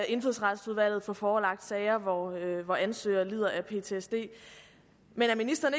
indfødsretsudvalget få forelagt sager hvor ansøger lider af ptsd men er ministeren